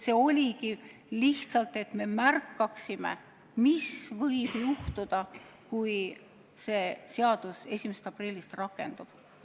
See oligi lihtsalt selleks, et me näeksime, mis võib juhtuda, kui see seadus 1. aprillil rakendub.